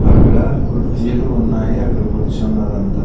అక్కడ కుర్జీలు ఉన్నాయి అక్కడ కుర్చున్నారంతా.